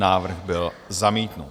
Návrh byl zamítnut.